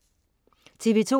TV2: